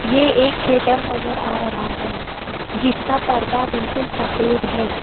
ये एक थिएटर नजर आ रहा है जिसका पर्दा बिल्कुल सफेद है।